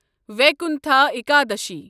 Vaikuntha Ekadashi